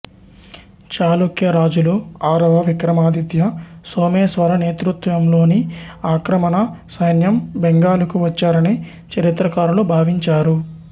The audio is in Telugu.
చాళుక్య రాజులు ఆరవ విక్రమాదిత్య సోమేశ్వర నేతృత్వంలోని ఆక్రమణ సైన్యం బెంగాలుకు వచ్చారని చరిత్రకారులు భావించారు